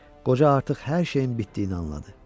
Qoca artıq hər şeyin bitdiyini anladı.